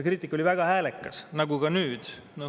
Kriitika oli väga häälekas, nagu ka nüüd.